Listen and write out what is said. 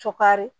Sukari